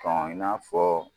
i n'a fɔ